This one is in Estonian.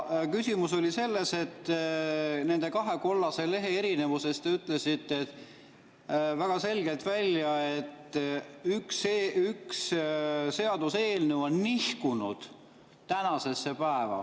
Küsimus oli selles, et nende kahe kollase lehe erinevuse kohta te ütlesite väga selgelt, et üks seaduseelnõu on nihkunud tänasesse päeva.